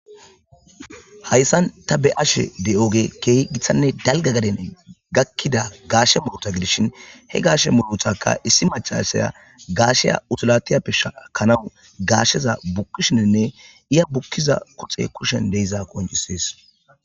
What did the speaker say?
hayssan ta be ashe de7ooge keehi githanne dalga gaden gakkida gaashe moota gidishin he gaashe mohotaka issi machasaya gaasheya utulatiyappe shakanawu gaasheza bukkishininne iya bukkiza kuxe kushen deiza qonjisees